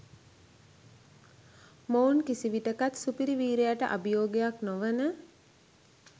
මොවුන් කිසිවිටෙකත් සුපිරි වීරයාට අභියෝගයක් නොවන